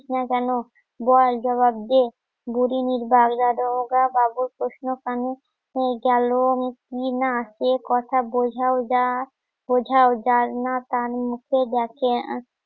না কেন? বল জবাব দে বুরির বাবুর প্রশ্ন কানে গেল ই না, এই কথা বোঝাও যা বোঝাও যা না তার মুখে দেখে